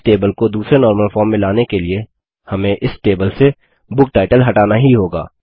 इस टेबल को दूसरे नॉर्मल फॉर्म में लाने के लिए हमें इस टेबल से बुकटाइटल हटाना ही होगा